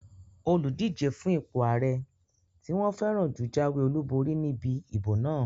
Olùdíjé fún ipò ààrẹ tí wọ́n fẹ́ràn jù jáwé olùborí níbi ìbò náà